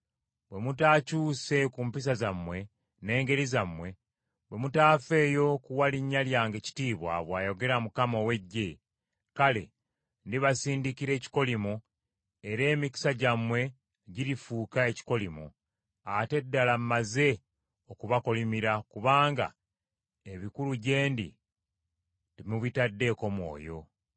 Bwe mutaakyuse ku mpisa zammwe n’engeri zammwe, bwe mutaafeeyo kuwa linnya lyange kitiibwa,” bw’ayogera Mukama ow’Eggye, “kale ndibasindikira ekikolimo era emikisa gyammwe girifuuka ekikolimo. Ate ddala mmaze okubakolimira kubanga ebikulu gye ndi temubitaddeeko mwoyo.